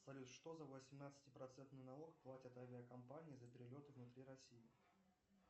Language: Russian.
салют что за восемнадцати процентный налог платят авиакомпании за перелеты внутри россии